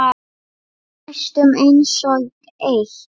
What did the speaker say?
Næstum einsog eitt.